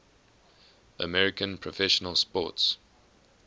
american professional sports